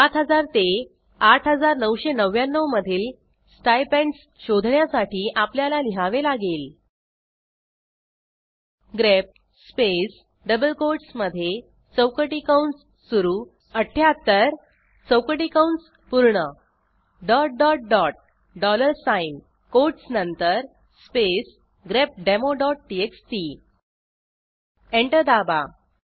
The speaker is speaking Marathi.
7000 ते 8999 मधील स्टायपेंडस शोधण्यासाठी आपल्याला लिहावे लागेल ग्रेप स्पेस डबल कोटसमधे चौकटी कंस सुरू 78 चौकटी कंस पूर्ण dollar साइन कोटस नंतर स्पेस grepdemoटीएक्सटी एंटर दाबा